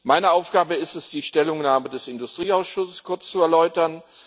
Meine Aufgabe ist es, die Stellungnahme des Industrieausschusses kurz zu erläutern.